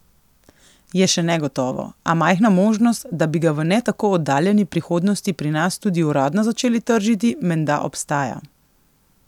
Je še negotovo, a majhna možnost, da bi ga v ne tako oddaljeni prihodnosti pri nas tudi uradno začeli tržiti, menda obstaja.